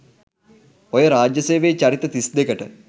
ඔය රාජ්‍ය සේවයේ චරිත තිස් දෙකට